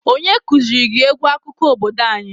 Onye kuziri gị egwu akụkọ obodo anyi?